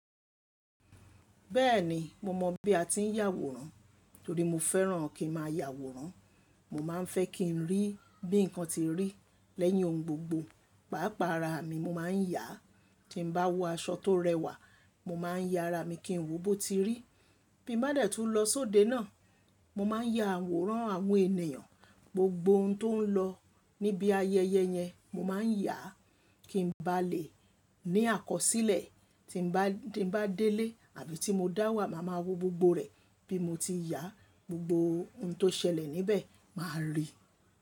Bẹ́ẹ̀ni mo mọ̀ bí a ti ń yàwòrán torí mo fẹ́ràn kí n má a yàwòrán. Mo má a ń fẹ́ kí n rí bí nǹkan ti rí lẹ́yìn ohun gbogbo. Pàápàá ara mi mo má a ń yàá. Tí n bá wọ aṣọ tó rẹwà, mo má a ń ya ara mi kí n wò bó ti rí. Bí mo bá dẹ̀ tú n lọ sóde náà, mo má a ń ya àwòrán àwọn ènìyàn, gbogbo ohun tó ń lọ níbi ayẹyẹ yẹn mo má a ń yàá kí n bá lè ní àkọsílẹ̀ tí bá ti dé ilé àbí tí mo dá wà má má wò gbogbo rẹ̀ bí mo ti yàá gbogbo ohun tó ṣẹlẹ̀ níbẹ̀ má a rí.